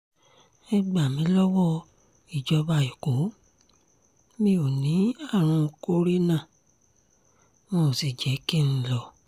ẹ gbà mí lọ́wọ́ ìjọba ẹ̀kọ́ mi ò ní àrùn kòrénà wọn ò sì jẹ́ kí n lọ